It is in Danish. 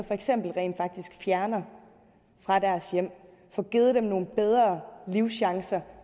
rent faktisk fjerner fra deres hjem og får givet dem nogle bedre livschancer